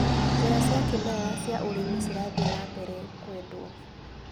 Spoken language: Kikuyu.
Njĩra cia kĩmerera cia ũrĩmi cirathi nambere kwendwo.